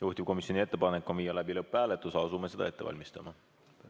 Juhtivkomisjoni ettepanek on viia läbi lõpphääletus ja asume seda ette valmistama.